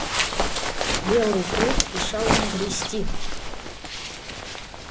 белый клык мешал ему грести